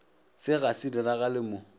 se ga se diragale mo